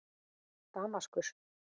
Damaskus